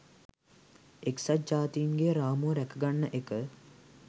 එක්සත් ජාතීන්ගේ රාමුව රැකගන්න එක